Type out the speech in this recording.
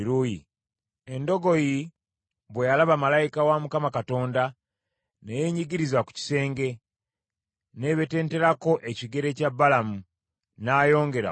Endogoyi bwe yalaba malayika wa Mukama Katonda ne yeenyigiriza ku kisenge, n’ebetenterako ekigere kya Balamu. N’ayongera okugikuba.